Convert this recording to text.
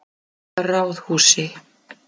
Ráðhúsi